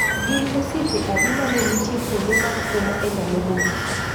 gin osiepe adi mane nitie kuonde mag umma e ndalo mogik